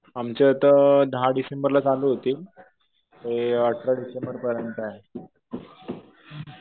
आमचे आता दहा डिसेंबरला चालू होतील. ते अठरा डिसेंबरपर्यंत आहे.